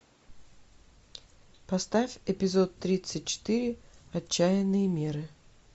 поставь эпизод тридцать четыре отчаянные меры